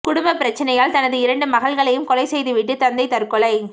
குடும்ப பிரச்சனையால் தனது இரண்டு மகள்களையும் கொலை செய்துவிட்டு தந்தை தற்கொலை